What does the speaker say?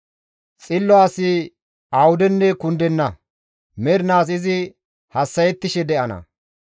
Xillo asi awudenne kundenna; mernaas izi hassa7ettishe de7ana.